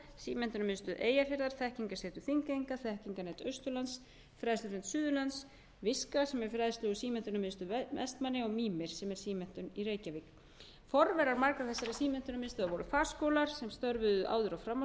símenntunarmiðstöð eyjafjarðar þekkingarsetur þingeyinga þekkingarnet austurlands fræðslunet suðurlands virka sem er fræðslu og símenntunarmiðstöð vestmannaeyja og mímir sem er símenntun í reykjavík forverar margra þessara símenntunarmiðstöðva